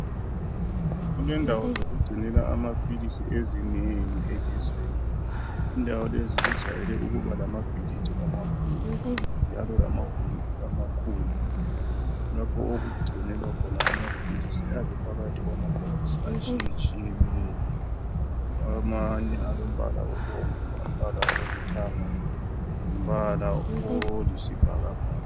Kulendawo zokugcinela amaphilisi ezinengi elizweni. Indawo lezi zijwayele ukuba lababhilidi amakhulu, njalo lamagumbi amakhulu lapho okugcinelwa khona amaPhilisi ayabe ephakathi kwamabhokisi atshiye tshiyeneyo amanye alombala obomvu, umbala olithanga lombala oyisibhakabhaka.